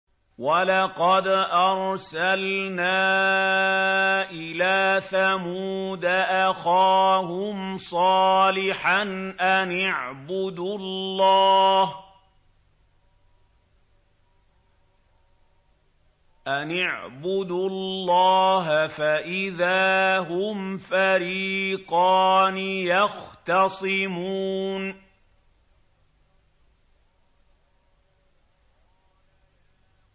وَلَقَدْ أَرْسَلْنَا إِلَىٰ ثَمُودَ أَخَاهُمْ صَالِحًا أَنِ اعْبُدُوا اللَّهَ فَإِذَا هُمْ فَرِيقَانِ يَخْتَصِمُونَ